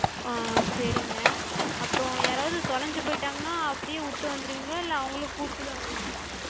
ஆஹ் சேரிங்க. அப்றோ யாராது தொலஞ்சு போயிட்டாங்கனா அப்டியே விட்டு வந்திருவிங்களா? இல்ல அவங்களு கூட்டுதா வருவிங்களா?